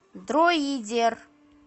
дроидер